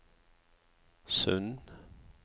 Sund